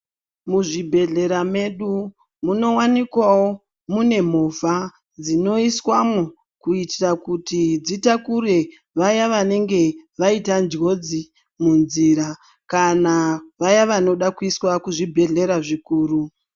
Muzvibhehlera mwedu munowanikwawo mune movha dzinoiswamwo kuitira kuti dzitakure vaya vanenge vaita njodzi munzira kana vaya vanoda kuiswa kuzvibhehlera zvikuru.